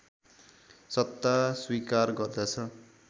सत्ता स्वीकार गर्दछ